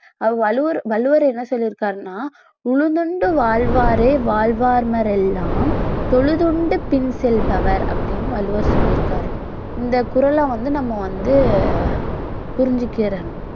வள்ளுவர் வள்ளுவர் என்ன சொல்லிருக்காருன்னா உழுதுண்டு வாழ்வாரே வாழ்வார் மற்றோரெல்லாம் தொழுதுண்டு பின் செல்பவர் அப்படின்னு வள்ளுவர் சொல்லியிருக்காரு இந்த குறளை வந்து நம்ம வந்து புரிஞ்சுக்கிறணும்